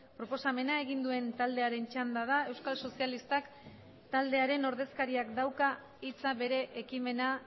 proposamena egin duen taldearen txanda da euskal sozialistak taldearen ordezkariak dauka hitza bere ekimena